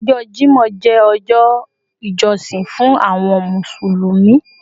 Ọjọ́ Jímọ̀ jẹ́ ọjọ́ ìjọsìn fún àwọn Mùsùlùmí